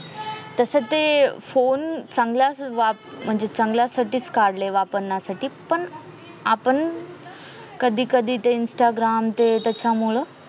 तसं ते फोन चांगला म्हणजे चांगल्यासाठीच काढले वापरण्यासाठी पण आपण कधीकधी ते instagram ते त्यांच्यामुळे